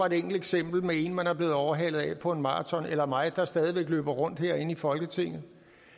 et enkelt eksempel med en man er blevet overhalet af på en maraton eller af mig der stadig væk løber rundt herinde i folketinget